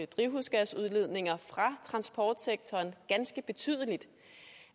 drivhusgasudledninger fra transportsektoren ganske betydeligt